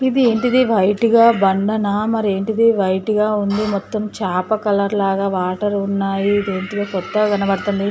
ఇది ఏంటిది వైట్ గా బండనా. మరి ఏంటిది వైట్ గా ఉంది. మొత్తం చాప కలర్ లాగా వాటర్ ఉన్నాయి. దేనితో కొత్తగా కనపడుతుంది.